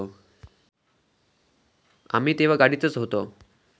आम्ही तेव्हा गाडीतच होतो.